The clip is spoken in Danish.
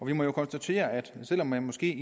vi må jo konstatere at selv om man måske